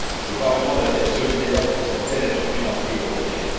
Le Parlement doit être solidaire face à une telle attitude antieuropéenne.